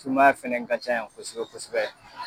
Sumaya fɛnɛ ka ca yan kosɛbɛ kosɛbɛ